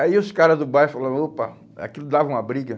Aí os caras do bairro falava, opa, aquilo dava uma briga.